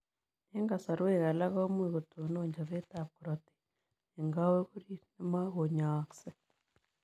Eng kasarwek alaak komuuch kotonon chopeet ap korotik eng kowek oriit nemakonyaaksei.